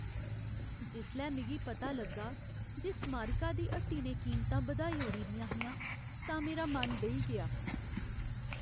जिसलै मिगी पता लग्गा जे स्मारिका दी हट्टी ने कीमतां बधाई ओड़ी दियां हियां, तां मेरा मन बेही गेआ।